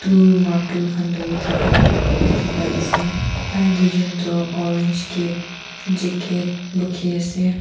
umm martul khan dhuri thaka dikhi pai ase tai duijun toh orange cap jacket bukhi ase.